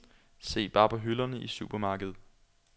Se bare på hylderne i supermarkedet.